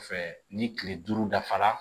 Fɛ ni kile duuru dafara